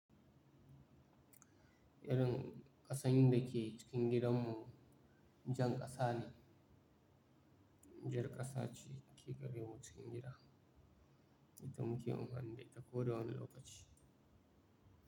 Irin ƙasan da ke cikin gidanmu jan ƙasa ne. Jan ƙasa ce ke gare mu cikin gida da muke amfani da ita ko da wani lokaci.